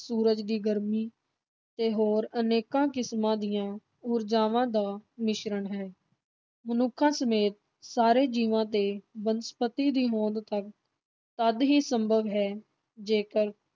ਸੂਰਜ ਦੀ ਗਰਮੀ ਤੇ ਹੋਰ ਅਨੇਕਾਂ ਕਿਸਮਾਂ ਦੀਆਂ ਊਰਜਾਵਾਂ ਦਾ ਮਿਸ਼ਰਨ ਹੈ, ਮਨੁੱਖਾਂ ਸਮੇਤ ਸਾਰੇ ਜੀਵਾਂ ਤੇ ਬਨਸਪਤੀ ਦੀ ਹੋਂਦ ਤਦ ਤਦ ਹੀ ਸੰਭਵ ਹੈ, ਜੇਕਰ